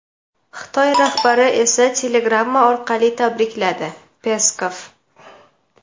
Xitoy rahbari esa telegramma orqali tabrikladi — Peskov.